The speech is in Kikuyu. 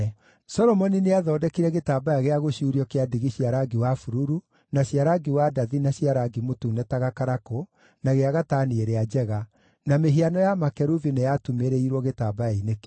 Solomoni nĩathondekire gĩtambaya gĩa gũcuurio kĩa ndigi cia rangi wa bururu, na cia rangi wa ndathi na cia rangi mũtune ta gakarakũ na gĩa gatani ĩrĩa njega, na mĩhiano ya makerubi nĩyatumĩrĩirwo gĩtambaya-inĩ kĩu.